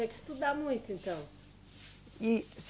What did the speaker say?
Você tem que estudar muito, então. E